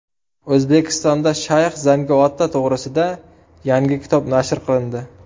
O‘zbekistonda shayx Zangi ota to‘g‘risida yangi kitob nashr qilindi.